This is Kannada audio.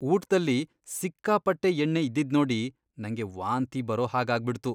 ಊಟ್ದಲ್ಲಿ ಸಿಕ್ಕಾಪಟ್ಟೆ ಎಣ್ಣೆ ಇದ್ದಿದ್ನೋಡಿ ನಂಗೆ ವಾಂತಿ ಬರೋ ಹಾಗ್ ಆಗ್ಬಿಡ್ತು.